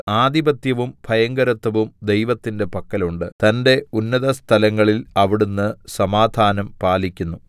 ആധിപത്യവും ഭയങ്കരത്വവും ദൈവത്തിന്റെ പക്കൽ ഉണ്ട് തന്റെ ഉന്നതസ്ഥലങ്ങളിൽ അവിടുന്ന് സമാധാനം പാലിക്കുന്നു